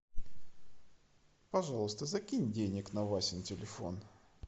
пожалуйста закинь денег на васин телефон